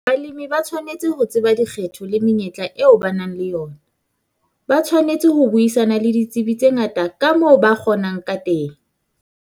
Balemi ba tshwanetse ho tseba dikgetho le menyetla eo ba nang le yona, ba tshwanetse ho buisana le ditsebi tse ngata ka moo ba kgonang ka teng.